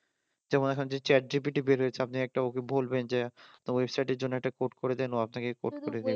যেমন এখনো যে চ্যাট জিপিটি বেরিয়েছে একটা ওকে বলবেন যে আপনার ওয়েবসাইটের জন্য একটা কোড করে দেন আপনাকে কোড করে দেবে